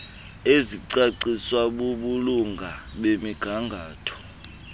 ezicaciswa bubulunga bemigangatho